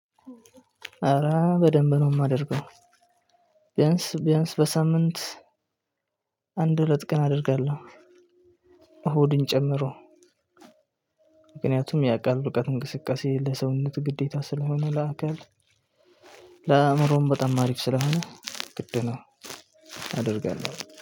ኧረ በደንብ ነው የማደርገው ቢያንስ ቢያንስ በሳምንት አንድ ሁለት ቀን አደርጋለሁ። እሁድን ጨምሮ ምክንያቱም ያቃል እውቀት እንቅስቃሴ ለሰውነት ግዴታ ስለሆነ ለአካል ለአእምሮም በጣም ማሪፍ ስለሆነ ግድ ነው አደርጋለሁ